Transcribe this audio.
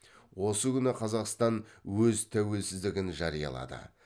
осы күні қазақстан өз тәуелсіздігін жариялады